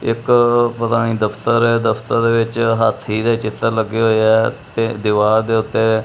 ਇੱਕ ਪਤਾ ਨੀ ਦਫ਼ਤਰ ਹੈ ਦਫ਼ਤਰ ਦੇ ਵਿੱਚ ਹਾਥੀ ਦੇ ਚਿੱਤਰ ਲੱਗੇ ਹੋਏ ਹੈ ਤੇ ਦਿਵਾਰ ਦੇ ਓੱਤੇ --